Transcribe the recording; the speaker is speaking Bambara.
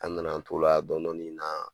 An nana an t'o la dɔɔnin dɔɔnin na